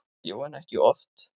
Jú, en ekki oft.